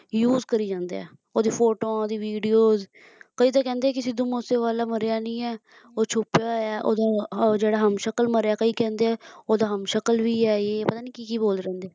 Use ਕਰਿ ਜਾਂਦੇ ਹੈ ਓਹਦੀਆਂ ਫੋਟੋਆਂ ਓਹਦੀ Videos ਕਈ ਤਾਂ ਕਹਿੰਦੇ ਹੈ ਕਿ ਸਿੱਧੂ ਮੂਸੇਵਾਲਾ ਮਰਿਆ ਨਹੀਂ ਹੈ ਉਹ ਛੁਪਿਆ ਹੋਇਆ ਓਹਦਾ ਅਹ ਜਿਹੜਾ ਹਮਸ਼ਕਲ ਮਰਿਆ ਕਈ ਕਹਿੰਦੇ ਓਹਦਾ ਹਮਸ਼ਕਲ ਵੀ ਹੈ ਏ ਹੈ ਪਤਾ ਨਹੀਂ ਕੀ ਕੀ ਬੋਲਦੇ ਰਹਿੰਦੇ ਹੈ